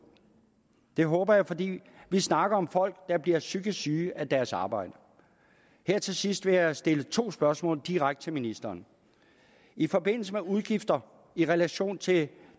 det håber jeg fordi vi snakker om folk der bliver psykisk syge af deres arbejde her til sidst vil jeg stille to spørgsmål direkte til ministeren i forbindelse med udgifter i relation til